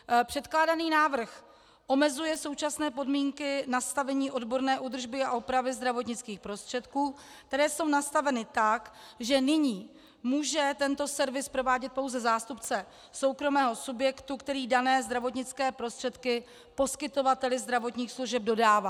Předkládaný návrh omezuje současné podmínky nastavení odborné údržby a opravy zdravotnických prostředků, které jsou nastaveny tak, že nyní může tento servis provádět pouze zástupce soukromého subjektu, který dané zdravotnické prostředky poskytovateli zdravotních služeb dodává.